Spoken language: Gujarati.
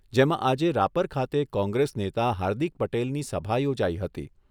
જેમાં આજે રાપર ખાતે કોંગ્રેસ નેતા હાર્દિક પટેલની સભા યોજાઈ હતી.